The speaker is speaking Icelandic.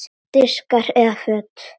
Diskar eða föt?